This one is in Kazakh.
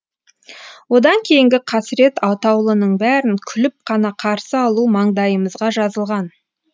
одан кейінгі қасірет атаулының бәрін күліп қана қарсы алу маңдайымызға жазылған